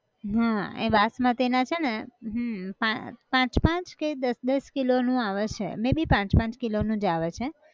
હાં એ બાસમતી ના છે ને હમ પાં પાંચ પાંચ કે દસ દસ kilo નું આવે છે may be પાંચ પાંચ kilo નું જ આવે છે